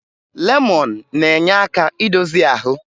Lemọn na-enye aka idozi ahụ